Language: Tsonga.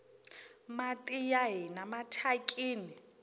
mati ya hina mathyakini